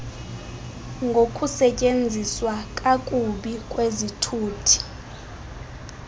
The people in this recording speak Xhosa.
ngokusetyenziswa kakubi kwezithuthi